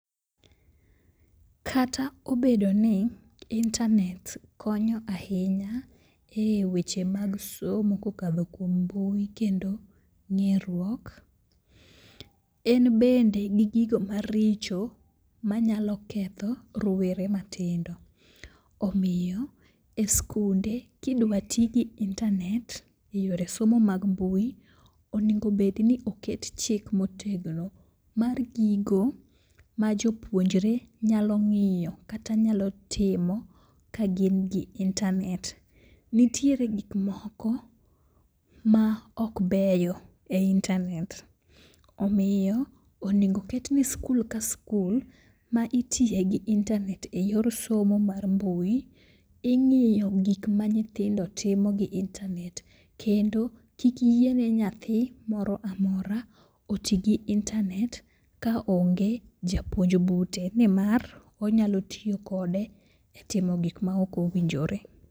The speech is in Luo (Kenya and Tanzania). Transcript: Kata obedo ni intanet konyo ahinya e weche mag somo kokadho kuom mbui kendo ng'eruok, en bende gi gigo maricho manyalo ketho rowere matindo, omiyo e skunde kidwa ti gi intanet e yore somo mag mbui, onegobedni oket chik motegno mar gigo ma jopuonjre nyalo ng'iyo kata nyalo timo ka gin gi intanet. Nitiere gikmoko ma ok beyo e intanet omiyo onego ketni skul ka skul ma itiye gi intanet e yor somo mar mbui, ing'iyo gik ma nyithindo timo gi intanet kendo kik yiene nyathi moro amora oti gi intanet kaonge japuonj bute nimar onyalo tiyo kode e timo gik ma ok owinjore.